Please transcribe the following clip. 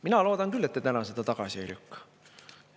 Mina loodan küll, et te täna seda tagasi ei lükka.